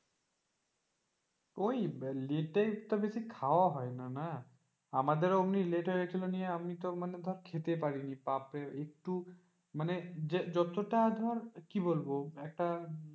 ওই late একটু বেশি খাওয়া হয় না না, আমাদেরও অমনি late হয়ে গেছিল নিয়ে আমি তো মানে খেতেই পারিনি বাপরে একটু মানে যতটা ধর কি বলবো একটা,